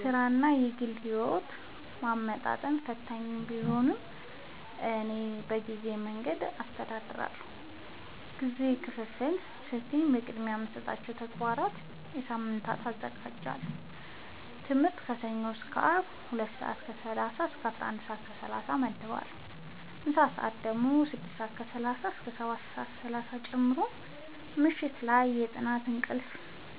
ሥራንና የግል ሕይወትን ማመጣጠን ፈታኝ ቢሆንም፣ እኔ በዚህ መንገድ አስተዳድራለሁ፦ የጊዜ ክፍፍል ስልቴ፦ · ቅድሚያ የሚሰጣቸውን ተግባራት በየሳምንቱ አዘጋጃለሁ · ለትምህርት ከሰኞ እስከ አርብ ከ 2:30-11:30 እመድባለሁ (ምሳ ሰአት 6:30-7:30 ጨምሮ) · ምሽት ላይ የጥናት፣ የእንቅልፍ